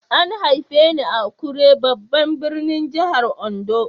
An haife ni a Akure babban birnin jihar Ondo.